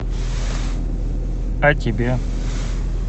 о тебе